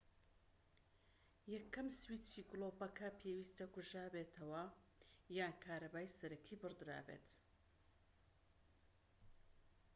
یەکەم سویچی گلۆپەکە پێویستە کوژابێتەوە یان کارەبای سەرەکی بڕدرابێت